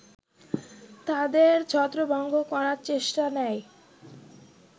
তাদের ছত্রভঙ্গ করার চেষ্টা নেয়